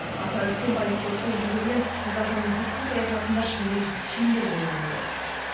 аса үлкен байыптылықпен жүргізген қазақстанның сыртқы саясатында шынымен шеңбер болған жоқ